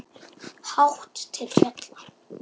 Hátt til fjalla?